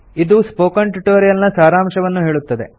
ಇದು spoken tutorial ನ ಸಾರಾಂಶವನ್ನು ಹೇಳುತ್ತದೆ